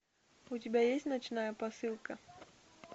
у тебя есть ночная посылка